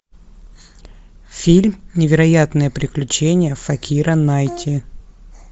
фильм невероятные приключения факира найти